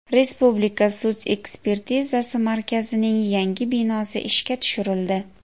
Respublika sud ekspertizasi markazining yangi binosi ishga tushirildi.